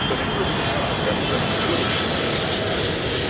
so next வந்து பாத்தீங்கன்னா இது ஒரு முக்கியம